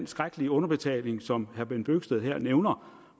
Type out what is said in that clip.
skrækkelige underbetaling som herre bent bøgsted nævner